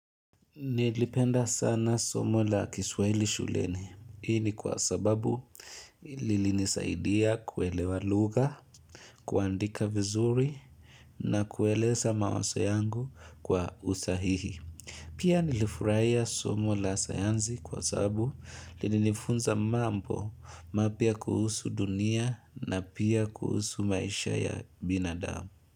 Nilipenda sana somo la kiswaili shuleni. Hii ni kwa sababu lilinisaidia kuelewa lugha, kuandika vizuri na kueleza mawazo yangu kwa usahihi. Pia nilifurahia somo la sayansi kwa sababu lilinifunza mambo mapia kuhusu dunia na pia kuhusu maisha ya binadamu.